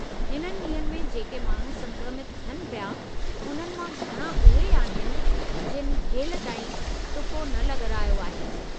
हिननि ॾींहनि में जेके माण्हू संक्रमित थियनि पिया, उन्हनि मां घणां उहे आहिनि जिनि हेलिताईं टुको न लॻारायो आहे।